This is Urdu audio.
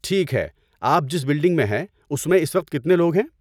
ٹھیک ہے، آپ جس بلڈنگ میں ہیں اس میں اس وقت کتنے لوگ ہیں؟